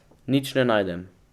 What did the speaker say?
Nič ne najdem.